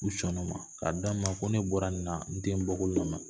U sɔnn'o ma k'a d'a ma ko ne bɔra nin na n tɛ n bɔkolo lamaloya